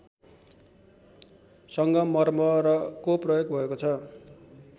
सङ्गमर्मरको प्रयोग भएको छ